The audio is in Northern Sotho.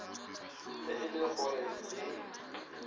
ge e le gore le